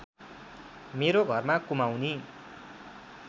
मेरो घरमा कुमाउँनी